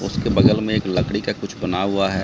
इसके बगल में एक लकड़ी का कुछ बना हुआ है।